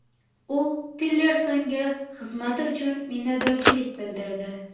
U Tillersonga xizmati uchun minnatdorlik bildirdi.